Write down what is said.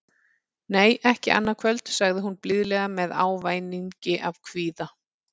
Nei, ekki annað kvöld, sagði hún blíðlega með ávæningi af kvíða.